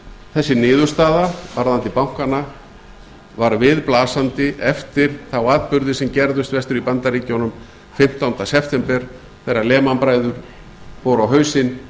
þessi niðurstaða varðandi bankana var viðblasandi eftir þá atburði sem gerðust vestur í bandaríkjunum fimmtánda september þegar lehman bræður fóru á hausinn